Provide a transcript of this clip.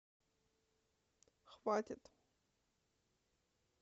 хватит